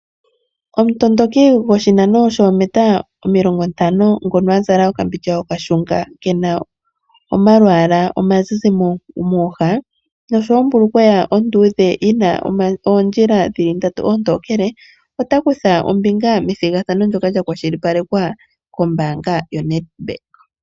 Omutondoki goshinano shoomita omilongo ntano ngono azala oka mbindja okashunga kena omalwaala oma zizi mooha . Nosho woo ombulukweya yina oongoyo ndatu oontokele ota kutha ombinga methigathano lyoka lya kwashilipalekwa kombaanga yo NET Bank.